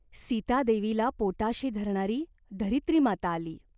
सीतादेवीला पोटाशी धरणारी धरित्रीमाता आली.